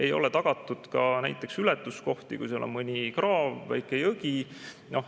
Ei ole tagatud ka näiteks ületuskohti, kui seal on mõni kraav või väike jõgi.